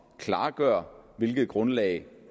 klargøre hvilket grundlag